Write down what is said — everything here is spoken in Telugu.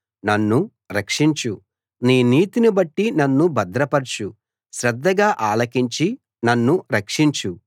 నన్ను రక్షించు నీ నీతిని బట్టి నన్ను భద్రపరచు శ్రద్ధగా ఆలకించి నన్ను రక్షించు